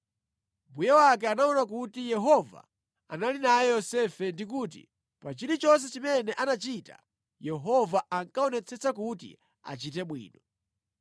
Mbuye wake anaona kuti Yehova anali naye Yosefe ndi kuti pa chilichonse chimene anachita Yehova ankaonetsetsa kuti achite bwino.